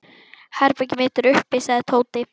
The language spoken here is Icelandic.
Herbergið mitt er uppi sagði Tóti.